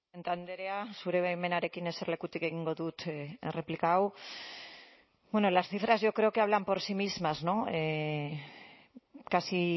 andrea zure baimenarekin eserlekutik egingo dut erreplika hau bueno las cifras yo creo que hablan por sí mismas no casi